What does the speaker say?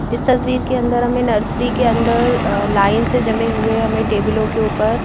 इस तस्वीर के अंदर हमें नर्सरी के अंदर अह लाइन से जमे हुए हमें टेबलों के ऊपर--